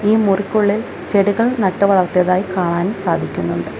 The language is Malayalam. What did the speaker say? ഈ മുറിക്കുള്ളിൽ ചെടികൾ നട്ടു വളർത്തിയതായി കാണാൻ സാധിക്കുന്നുണ്ട്.